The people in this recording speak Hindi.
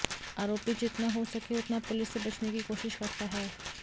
आरोपी जितना हो लके उतना पुलिस से बचने की कोशिश करता है